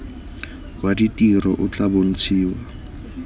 wa ditiro o tla bontshiwa